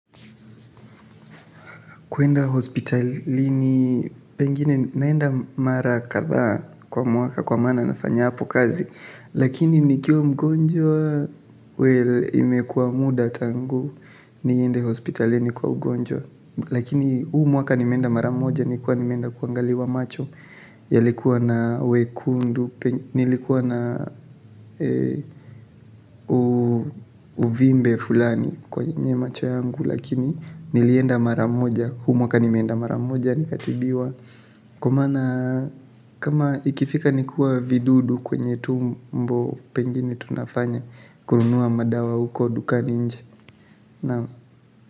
Kuenda hospitalini pengine naenda mara kadhaa kwa mwaka kwa maana nafanya hapo kazi lakini nikiwa mgonjwa, well imekuwa muda tangu niende hospitalini kwa ugonjwa. Lakini huu mwaka nimenda mara moja, nilikuwa nimeenda kuangaliwa macho yalikuwa na wekundu, nilikuwa na uvimbe fulani kwenye macho yangu lakini nilienda mara moja, huu mwaka nimeenda mara moja nikatibiwa kwa maana kama ikifika ni kuwa vidudu kwenye tumbo pengine tunafanya kununua madawa huko dukani nje.